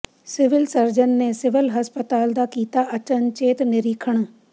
civil surgeon ਨੇ civil ਹਸਪਤਾਲ ਦਾ ਕੀਤਾ ਅਚਨਚੇਤ ਨਿਰੀਖਣ